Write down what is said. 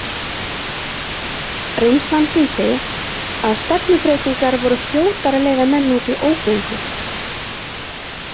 Reynslan sýndi að stefnubreytingar voru fljótar að leiða menn út í ógöngur.